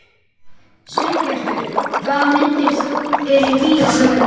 Sveinbjartur, hvaða myndir eru í bíó á laugardaginn?